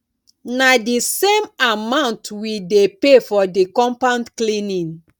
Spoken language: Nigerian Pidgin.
na di same amount we dey pay for di compound cleaning